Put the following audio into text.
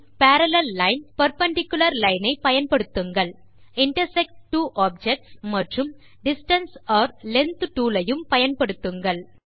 பின் parallel line perpendicular line ஐ பயன்படுத்துங்கள் intersect two objects மற்றும் டிஸ்டன்ஸ் அல்லது லெங்த் டூல் ஐயும் பயன்படுத்துங்கள்